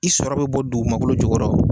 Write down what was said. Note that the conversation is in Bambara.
I sɔrɔ be bɔ dugumakolo jukɔrɔ